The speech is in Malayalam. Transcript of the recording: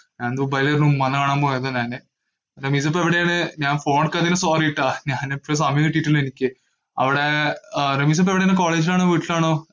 ഞാൻ ദുബായീവരെ ഉമ്മാനെ കാണാൻ പോയത് തന്നെഎൻറെ, റമീസ ഇപ്പൊ എവിടെയാണ്, ഞാൻ phone എടുക്കാത്തതിന് sorry കേട്ടാ, ഞാൻ എപ്പോളും സമയം കിട്ടീട്ടില്ല എനിക്ക്, അവിടെ അഹ് റമീസ ഇപ്പോ എവിടെയാണ് college ഇലാണോ വീട്ടിലാണോ